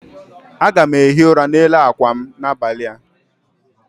Aga m ehi ụra n'elu akwa m n'abalị a